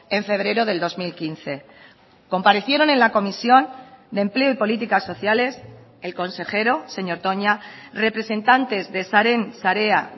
en febrero del dos mil quince comparecieron en la comisión de empleo y políticas sociales el consejero señor toña representantes de sareen sarea